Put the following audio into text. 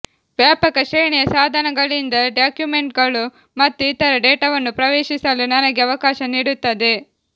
ವ್ಯಾಪಕ ಶ್ರೇಣಿಯ ಸಾಧನಗಳಿಂದ ಡಾಕ್ಯುಮೆಂಟ್ಗಳು ಮತ್ತು ಇತರ ಡೇಟಾವನ್ನು ಪ್ರವೇಶಿಸಲು ನನಗೆ ಅವಕಾಶ ನೀಡುತ್ತದೆ